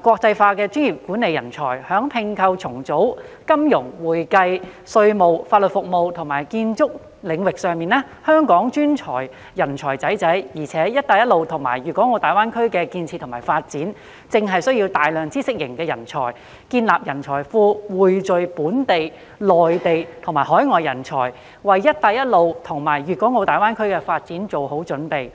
國際化的專業管理人才，在併購重組、金融、會計稅務、法律服務及建築領域上，香港專才濟濟，而"一帶一路"及大灣區的建設與發展，正正需要大量知識型人才，建立人才庫，匯聚本地、內地和海外人才，為"一帶一路"及大灣區的發展作好準備。